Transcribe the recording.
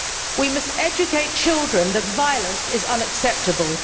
We must educate children that violence is unacceptable.